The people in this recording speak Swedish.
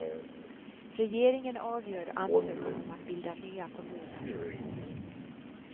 Regeringen avgör ansökan om att bilda nya kommuner.